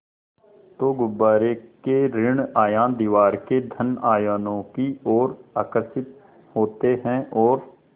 तो गुब्बारे के ॠण आयन दीवार के धन आयनों की ओर आकर्षित होते हैं और